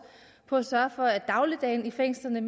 på at sørge for at dagligdagen i fængslerne